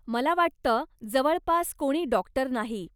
मला वाटतं, जवळपास कोणी डाॅक्टर नाही.